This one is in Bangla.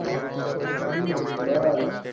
হম বল?